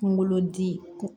Kunkolo di